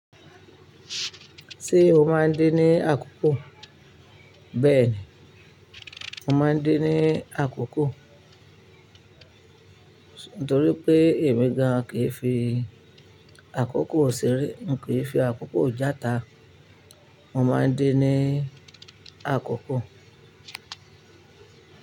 Ṣé o máa ń din ní àkókò? Bẹ́ẹ̀ ni, mo máa ń din ní àkókò. Nítorí pé èmi gan-an kì í fi àkókò ṣeré, n kì í fi àkókò játa. Mo máa ń din ní àkókò.